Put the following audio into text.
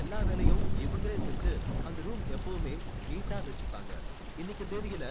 எல்லா வேலையும் இவங்களே செஞ்சு அந்த room எப்பவுமே neat ஆ வச்சுப்பாங்க இன்னிக்கு தேதியில